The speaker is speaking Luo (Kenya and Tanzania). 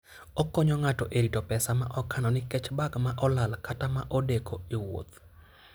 Okonyo ng'ato e rito pesa ma okano nikech bag ma olal kata ma odeko e wuoth.